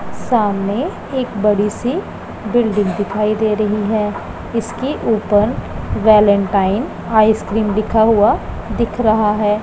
सामने एक बड़ी सी बिल्डिंग दिखाई दे रही है इसके ऊपर वेलेंटाइन आइसक्रीम लिखा हुआ दिख रहा है।